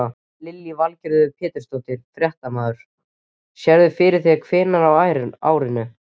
Lillý Valgerður Pétursdóttir, fréttamaður: Sérðu fyrir þér hvenær á árinu?